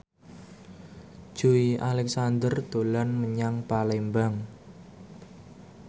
Joey Alexander dolan menyang Palembang